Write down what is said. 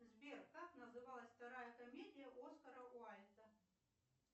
сбер как называлась вторая комедия оскара уальда